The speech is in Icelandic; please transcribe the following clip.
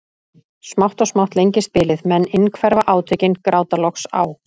Smátt og smátt lengist bilið, menn innhverfa átökin, gráta loks á